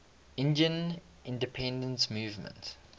indian independence movement